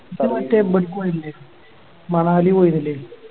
ഇജ്ജ് മറ്റേ ഇബ്‌ട്ക്ക് പോയില്ലേ മണാലി പോയിന്നില്ലേ